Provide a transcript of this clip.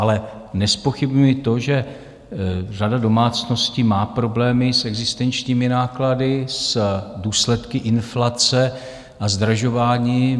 Ale nezpochybňuji to, že řada domácností má problémy s existenčními náklady, s důsledky inflace a zdražování.